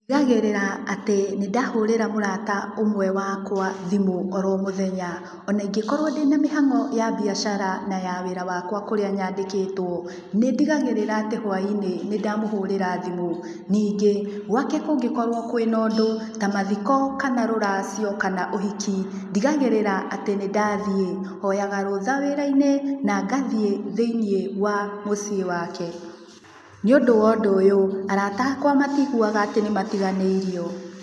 Ndigagĩrĩra atĩ nĩ ndahũrĩra mũrata ũmwe wakwa thimũ oro mũthenya. Ona ingĩkorwo ndĩna mĩhang'o ya mbiacara na wĩra wakwa kũrĩa nyandĩkĩtwo, nĩ ndigagĩrĩra atĩ hwaĩ-ní, nĩ ndamũhũrĩra thimũ. Ningĩ gwake kũngĩkorwo kwĩna ũndũ ta mathiko, kana rũracio, kana ũhiki, ndigagĩrĩra atĩ nĩ ndathiĩ. Hoyaga rũtha wĩra-inĩ na ngathiĩ thĩinĩ wa mũciĩ wake. Nĩũndũ wa ũndũ ũyũ, arata akwa matiiguaga atĩ nĩ matiganĩirio.